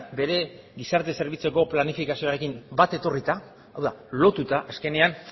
bere gizarte zerbitzuetako planifikazioarekin bat etorrita hau da lotuta azkenean